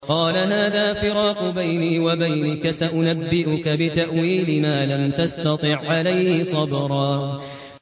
قَالَ هَٰذَا فِرَاقُ بَيْنِي وَبَيْنِكَ ۚ سَأُنَبِّئُكَ بِتَأْوِيلِ مَا لَمْ تَسْتَطِع عَّلَيْهِ صَبْرًا